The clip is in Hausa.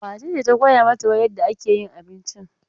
Wace ce ta koya mata yadda ake yin abinci?